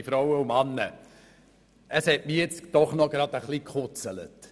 Es hat mich jetzt doch etwas gekitzelt!